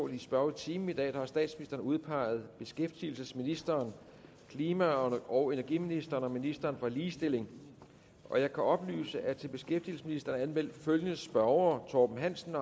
i spørgetimen i dag har statsministeren udpeget beskæftigelsesministeren klima og og energiministeren og ministeren for ligestilling jeg kan oplyse at til beskæftigelsesministeren er anmeldt følgende spørgere torben hansen